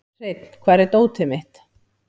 Hreinn, hvar er dótið mitt?